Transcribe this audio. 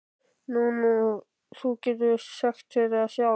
Nú, þú getur sagt þér það sjálf.